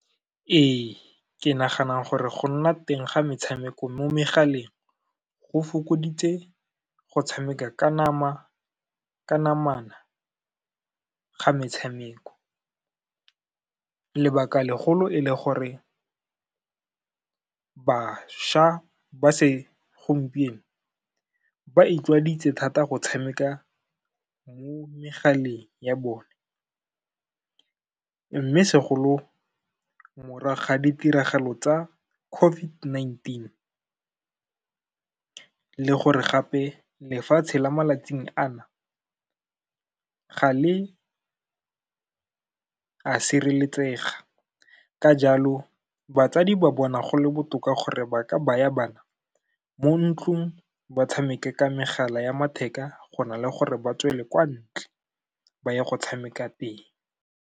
Ee, ke nagana gore go nna teng ga metshameko mo megaleng, go fokoditse go tshameka ka namana ga metshameko, lebaka legolo e le gore bašwa ba se gompieno, ba itlwaedisitse thata go tshameka mo megaleng ya bone, mme segolo morago ga ditiragalo tsa COVID-19, le gore gape lefatshe la malatsing ana, ga le a sireletsega, ka jalo batsadi ba bona go le botoka gore ba ka baya bana mo ntlong, ba tshameke ka megala ya matheka, go na le gore ba tswele kwa ntle, ba ya go tshameka teng.